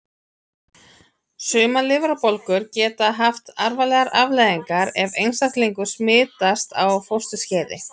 Sumar lifrarbólgur geta haft alvarlegar afleiðingar ef einstaklingur smitast á fósturskeiði.